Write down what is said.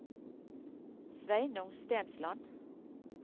Sveinung Stensland